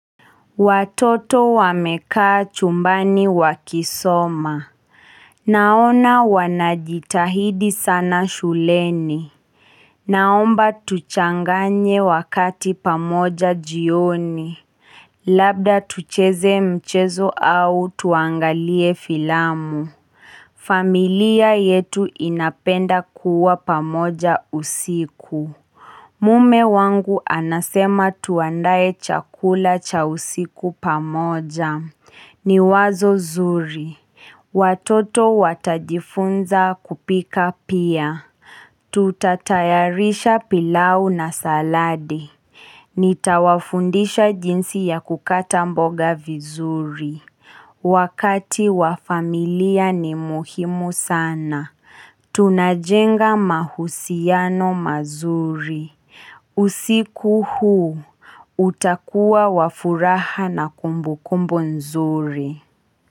Watoto wamekaa chumbani wakisoma. Naona wanajitahidi sana shuleni. Naomba tuchanganye wakati pamoja jioni. Labda tucheze mchezo au tuangalie filamu. Familia yetu inapenda kuwa pamoja usiku. Mume wangu anasema tuandaye chakula cha usiku pamoja. Ni wazo zuri. Watoto watajifunza kupika pia. Tutatayarisha pilau na saladi. Nitawafundisha jinsi ya kukata mboga vizuri. Wakati wa familia ni muhimu sana. Tunajenga mahusiano mazuri. Usiku huu, utakua wa furaha na kumbu kumbu nzuri.